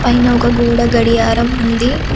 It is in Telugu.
పైన ఒక గోడ గడియారం ఉంది.